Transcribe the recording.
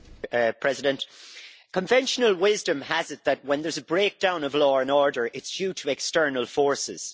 Madam President, conventional wisdom has it that when there is a breakdown of law and order it is due to external forces.